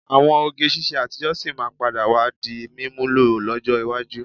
Àwọn oge ṣiṣẹ́ àtijọ́ sì máa padà wá di mímúlò lọ́jọ́ iwájú.